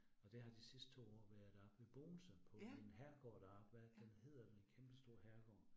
Og det har de sidste 2 år været oppe i Bogense på en herregård deroppe, hvad er det den hedder en kæmpestor herregård